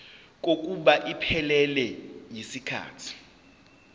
kokuba iphelele yisikhathi